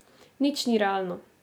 Nič ni realno.